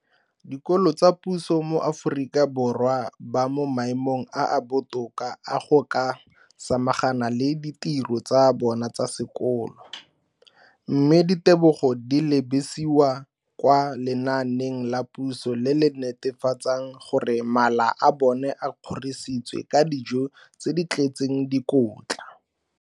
dikolo tsa puso mo Aforika Borwa ba mo maemong a a botoka a go ka samagana le ditiro tsa bona tsa sekolo, mme ditebogo di lebisiwa kwa lenaaneng la puso le le netefatsang gore mala a bona a kgorisitswe ka dijo tse di tletseng dikotla.